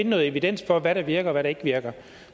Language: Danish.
noget evidens for hvad der virker og hvad der ikke virker